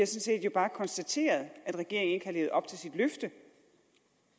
set bare konstateret at regeringen ikke har levet op til sit løfte